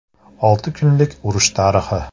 Olti kunlik urush tarixi.